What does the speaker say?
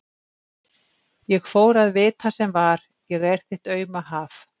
Ég fór að vita sem var: ég er þitt auma haf.